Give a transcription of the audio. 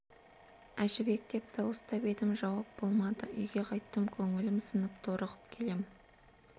әжібек деп дауыстап едім жауап болмады үйге қайттым көңілім сынып торығып келем